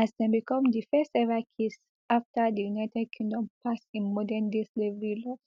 as dem become di first ever case afta di united kingdom pass im modern day slavery laws